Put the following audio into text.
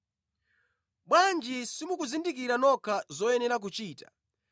“Bwanji simukuzindikira nokha zoyenera kuchita?